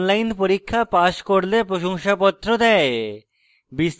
online পরীক্ষা pass করলে প্রশংসাপত্র দেয়